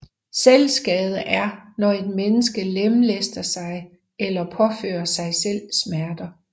Selvskade er når et menneske lemlæster sig eller påfører sig selv smerter